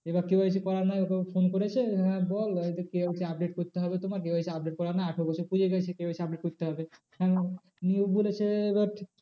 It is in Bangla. এবার KYC করা নেই ওকে phone করেছে হ্যাঁ বল KYC update করতে হবে তোমার KYC update করা নাই আঠেরো পেরিয়ে গেছে KYC update করতে হবে। নিয়ে ও বলেছে এবার